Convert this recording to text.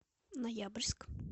ноябрьск